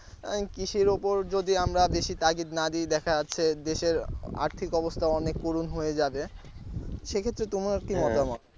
কৃষির ওপর যদি আমরা বেশি তাগিদ না দিই দেখা যাচ্ছে দেশের আর্থিক অবস্থা অনেক করুন হয়ে যাবে সেক্ষেত্রে তোমার কি মতামত?